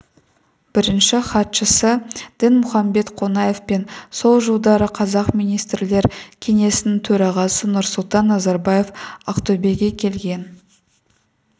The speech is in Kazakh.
бірінші хатшысы дінмұхамбет қонаев пен сол жылдары қазақ министрлер кеңесінің төрағасы нұрсұлтан назарбаев ақтөбеге келген